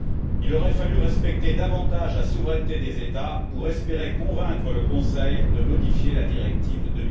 Il aurait fallu respecter davantage la souveraineté des États pour espérer convaincre le Conseil de modifier la directive de